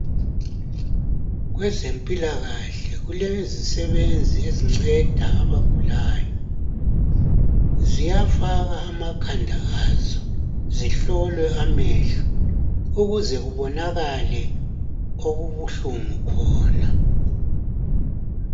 Kwezempilakahle kulezisebenzi ezinceda abagulayo. Ziyafaka amakhanda azo zihlole amehlo ukuze kubonakale okubuhlungu khona.